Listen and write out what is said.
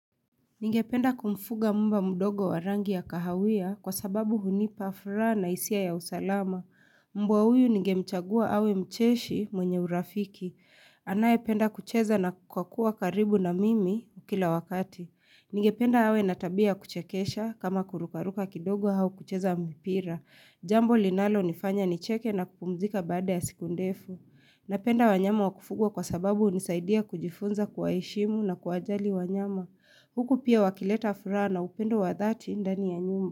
Ningependa kumfuga mba mudogo warangi ya kahawia kwa sababu hunipa furaha na hisia ya usalama. Mbwa huyu nigemchagua awe mcheshi mwenye urafiki. Anayependa kucheza na kukua kua karibu na mimi kila wakati. Ningependa awe natabia kuchekesha kama kurukaruka kidogo au kucheza mpira. Jambo linalo nifanya nicheke na kupumzika baada ya siku ndefu. Napenda wanyama wakufugwa kwa sababu hunisaidia kujifunza kuwaheshimu na kuwajali wanyama. Huku pia wakileta furaha na upendo wa dhati ndani ya nyumba.